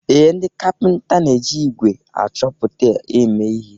Ee, ndị kapịnta na-eji ígwè achọpụta eme ihe